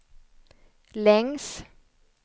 längs